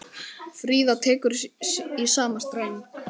Fríða tekur í sama streng.